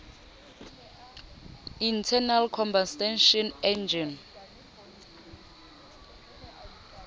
internal combustion engine